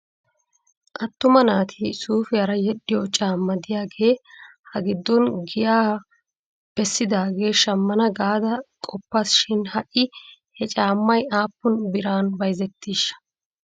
Attuma naati suufiyaara yedhdhiyoo caama diyaagee hagiddon giyan bessidaagaa shammana gaada qoppas shin ha'i he caammay aappun biran bayzzettiishsh ?